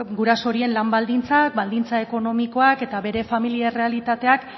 guraso horien lan baldintzak baldintza ekonomikoak eta bere familia errealitateak